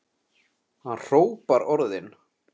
Hann hrópar orðin.